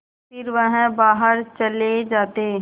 फिर वह बाहर चले जाते